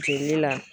Jeli la